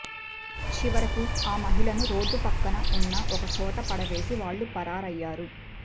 చివరకు ఆ మహిళను రోడ్డు పక్కన ఉన్న ఒకచోట పడవేసి వాళ్ళు పరారయ్యారు